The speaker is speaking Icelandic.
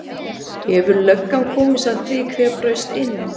Hefur löggan komist að því hver braust inn?